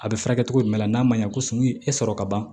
A bɛ furakɛ cogo jumɛn la n'a ma ɲɛ ko sun e sɔrɔ ka ban